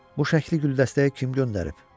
Bu şəkli Güldəstəyə kim göndərib?